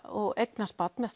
og eignast barn með